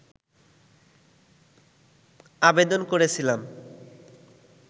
আবেদন করেছিলাম